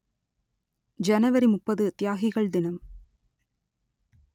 ஜனவரி முப்பது தியாகிகள் தினம்